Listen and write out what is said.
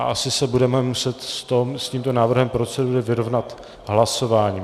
A asi se budeme muset s tímto návrhem procedury vyrovnat hlasováním.